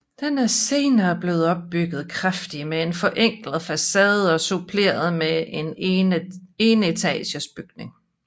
Den er senere blevet ombygget kraftigt med en forenklet facade og suppleret med en enetages tilbygning